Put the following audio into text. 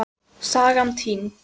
Sagan týnd.